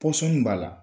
Pɔsɔn b'a la